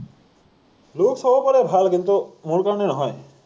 looks হ’ব পাৰে ভাল, কিন্তু মোৰ কাৰণে নহয়।